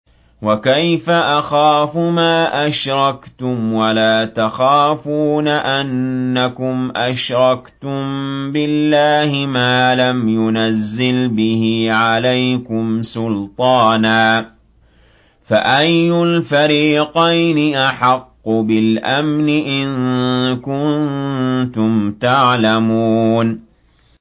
وَكَيْفَ أَخَافُ مَا أَشْرَكْتُمْ وَلَا تَخَافُونَ أَنَّكُمْ أَشْرَكْتُم بِاللَّهِ مَا لَمْ يُنَزِّلْ بِهِ عَلَيْكُمْ سُلْطَانًا ۚ فَأَيُّ الْفَرِيقَيْنِ أَحَقُّ بِالْأَمْنِ ۖ إِن كُنتُمْ تَعْلَمُونَ